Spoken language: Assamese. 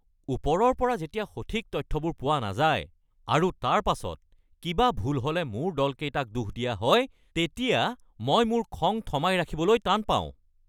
ওপৰৰ পৰা যেতিয়া সঠিক তথ্যবোৰ পোৱা নাযায় আৰু তাৰ পাছত কিবা ভুল হ'লে মোৰ দলকেইটাক দোষ দিয়া হয় তেতিয়া মই মোৰ খং থমাই ৰাখিবলৈ টান পাওঁ।